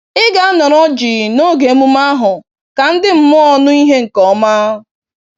Ị ga-anọrọ jii noge emume ahụ ka ndị mmụọ nụ ìhè nke ọma.